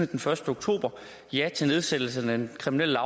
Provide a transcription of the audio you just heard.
den første oktober ja til nedsættelse af den kriminelle